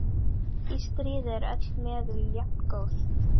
Í stríði eru öll meðul jafngóð.